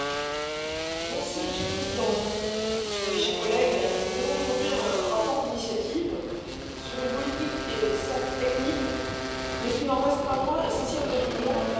Monsieur le Président, mes chers collègues, je vous présente aujourd'hui un rapport d'initiative sur une politique qui est certes technique, mais qui n'en reste pas moins essentielle à notre Union la politique douanière.